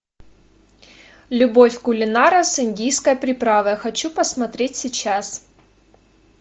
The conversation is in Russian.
любовь кулинара с индийской приправой хочу посмотреть сейчас